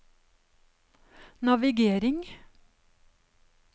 navigering